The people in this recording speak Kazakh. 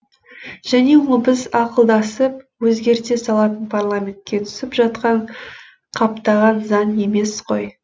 және ол біз ақылдасып өзгерте салатын парламентке түсіп жатқан қаптаған заң емес қой